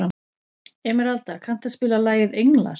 Emeralda, kanntu að spila lagið „Englar“?